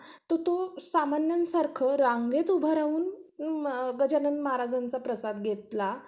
अन तिकडं खेळायला त्यांना सगळं म्हणजे, वेगवेगळे हे असतात. अं म्हणजे, जसं कि आता english school मध्ये झालं अं पहिले एक वर्ष लेकरांना तिकडे खेळण्यातच जातं.